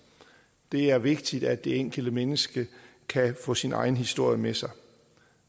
det er vigtigt at det enkelte menneske kan få sin egen historie med sig